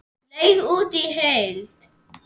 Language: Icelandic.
Leigt út í heild?